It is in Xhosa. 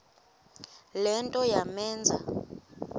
le nto yamenza